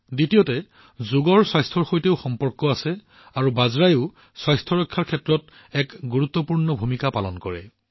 দ্বিতীয়তে যোগ স্বাস্থ্যৰ সৈতেও সম্পৰ্কিত আৰু বাজৰাও স্বাস্থ্যৰ ক্ষেত্ৰত এক গুৰুত্বপূৰ্ণ ভূমিকা পালন কৰে